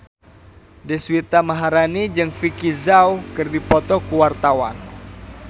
Deswita Maharani jeung Vicki Zao keur dipoto ku wartawan